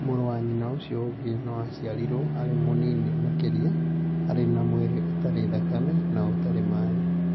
Mũrũ wa nyina ũcio ũngĩ no aciarĩrũo arĩ mũnini makĩria, arĩ na mwĩrĩ ũtarĩ thakame, na ũtarĩ maĩ.